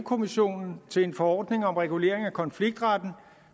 kommissionen til en forordning om regulering af konfliktretten